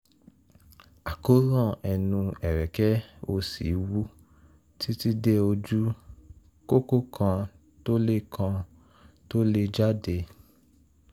àkóràn ẹnu ẹ̀rẹ̀kẹ́ òsì wú títí dé ojú kókó kan tó le kan tó le jáde